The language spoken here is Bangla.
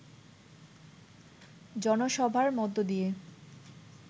জনসভার মধ্য দিয়ে